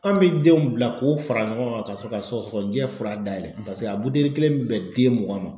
An bɛ denw bila k'o fara ɲɔgɔn kan ka sɔrɔ ka sɔgɔsɔgɔninjɛ fura dayɛlɛ paseke a buteli kelen bɛ bɛn den mugan ma.